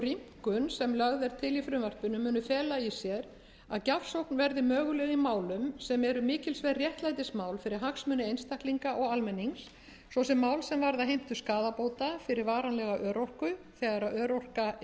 rýmkun sem lögð er til í frumvarpinu muni fela í sér að gjafsókn verði möguleg í málum sem eru mikilsverð réttlætismál fyrir hagsmuni einstaklinga og almennings svo sem mál sem varða heimtu skaðabóta fyrir varanlega örorku þegar örorka er